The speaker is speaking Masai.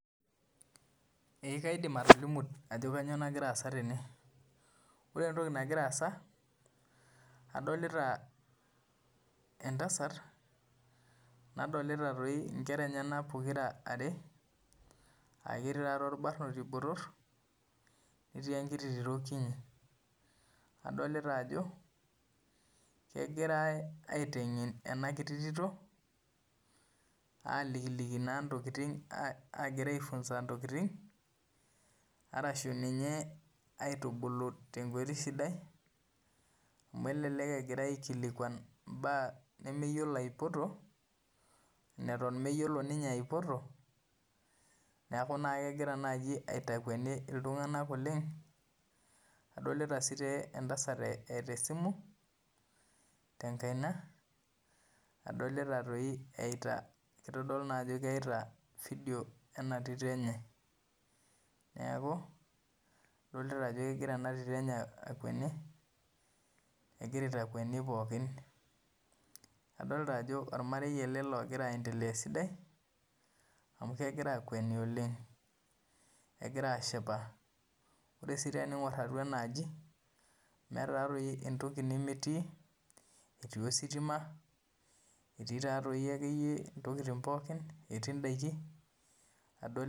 Eeh kaidim atolimu ajo kanyioo nagira aasa tene ore entoki nagira aasa adolita entasat nadolita orbanoti lenye netii enkiti tito kini nadolita ajo kegirae aiteng'en ena titi agira iafunza intokitin araki Egirai itubulu tenkoitoi sidai amu eleleng agirai aikilikuan imbaa nemeyiolo apoto neton mayiolo ninye aipoto neeku kegira aitakueni iltung'anak oleng adolita sii entasat eeta simu tenkaina adolita toi eita vidio ena titi enye neeku adolita ajo kegira ena titi enye akweni egira atakweni pooki neeku adoli ajo orameri sidai ele amu kegira ashipa ore sii tening'or atua enaaji meeta entoki nemetii etii ositima etii indaiki.